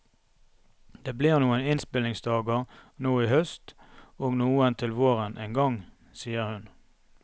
Det blir noen innspillingsdager nå i høst og noen til våren en gang, sier hun.